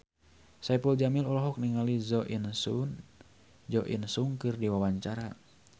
Saipul Jamil olohok ningali Jo In Sung keur diwawancara